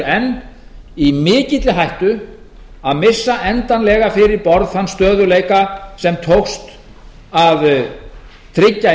enn í mikilli hættu að missa endanlega fyrir borð þann stöðugleika sem tókst að tryggja í